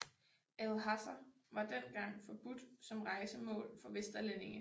Lhasa var dengang forbudt som rejsemål for vesterlændinge